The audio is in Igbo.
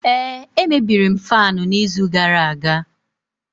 ee, emebiri m faanu n'izu gara aga